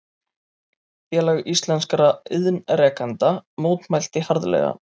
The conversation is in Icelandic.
Félag íslenskra iðnrekenda mótmælti harðlega